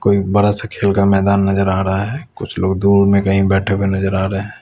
कोई बड़ा सा खेल का मैदान नजर आ रहा है कुछ लोग दूर मे कही बैठे हुए नजर आ रहे है।